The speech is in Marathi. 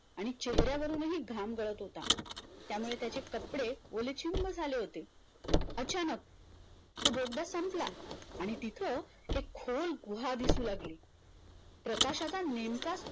आणि चेहऱ्यावरूनही घाम गळत होता यामुळे त्याचे कपडे ओलेचिंब झाले होते अचानक तो बोगदा संपला आणि तिथे एक खोल गुहा दिसु लागली प्रकाशाचा नेमका